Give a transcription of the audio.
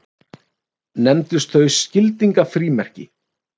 Nefndust þau skildingafrímerki.